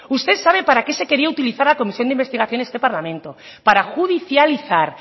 usted sabe para qué se quería utilizar la comisión de investigación de este parlamento para judicializar